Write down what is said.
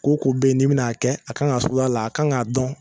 Ko o ko be ye n'i bɛ n'a kɛ a kan ŋa suguya la a kan ŋa dɔn